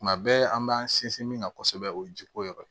Tuma bɛɛ an b'an sinsin min kan kosɛbɛ o ye ji ko yɔrɔ ye